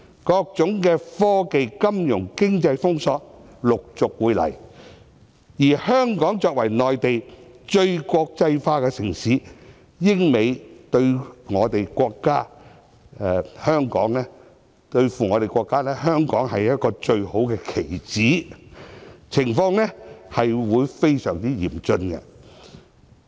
各種科技、金融、經濟封鎖，陸續會來，而香港作為內地最國際化的城市，英美對付中國，香港便是一個最好的棋子，情況將會非常嚴峻。